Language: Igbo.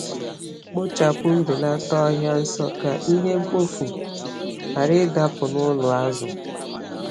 Kpochapụ ma belata ọhịa nso ka ihe mkpofu ghara ịdapụ n’ụlọ azụ.